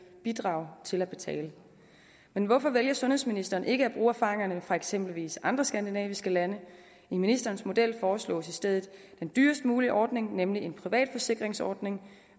bidrage til at betale men hvorfor vælger sundhedsministeren ikke at bruge erfaringerne fra eksempelvis andre skandinaviske lande i ministerens model foreslås i stedet den dyrest mulige ordning nemlig en privatforsikringsordning